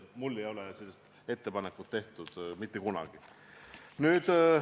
Tõesti, mulle ei ole sellist ettepanekut mitte kunagi tehtud.